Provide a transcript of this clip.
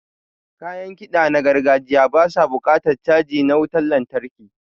Kayan kiɗa na gargajiya ba su buƙatan caji na wutan lantarki.